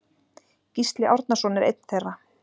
Gísli Árnason er einn þeirra.